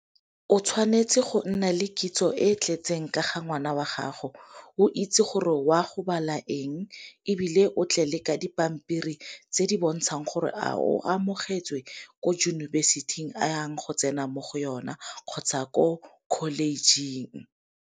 O tshwanetse go nna le kitso e tletseng ka ga ngwana wa gago, o itse gore o a go bala eng, ebile o tle le ka dipampiri tse di bontshang gore a o amogetswe ko yunibesithing a yang go tsena mo go yona kgotsa ko college-ing